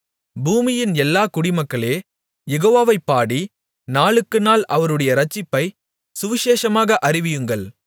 பூமியின் எல்லா குடிமக்களே யெகோவாவைப் பாடி நாளுக்குநாள் அவருடைய இரட்சிப்பை சுவிசேஷமாக அறிவியுங்கள்